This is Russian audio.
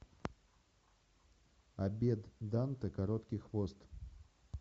обед данте короткий хвост